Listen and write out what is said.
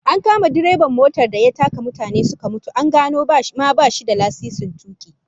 An kama direban motar da ya taka mutane suka mutu, an gano bashi ma da lasisin tuki